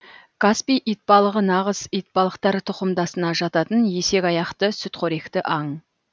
каспий итбалығы нағыз итбалықтар тұқымдасына жататын есекаяқты сүтқоректі аң